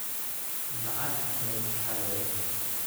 Lacag bay xadeen